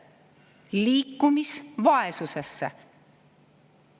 Liikumisvaesusesse!